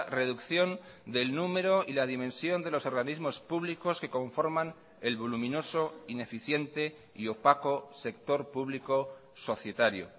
reducción del número y la dimensión de los organismos públicos que conforman el voluminoso ineficiente y opaco sector público societario